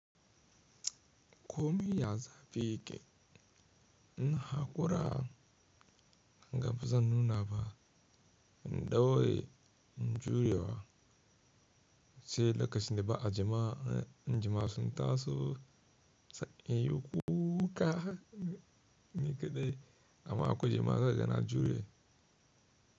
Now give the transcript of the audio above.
Komi ya zafi yake. In hakura gaba zan nuna ba, in ɗaure in juya sai lokacin da ba a jama'a, in jama'a sun taso, sai in yi kuka ni kaɗai, amma in a kwai jama'a za ka ga na jure.